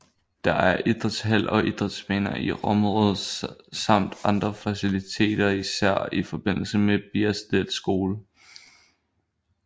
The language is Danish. Der er idrætshal og idrætsbaner i området samt andre faciliteter især i forbindelse med Biersted Skole